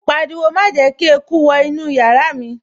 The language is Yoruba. Ó pariwo, 'Má jẹ́ kí eku wọ inú yàrá mi'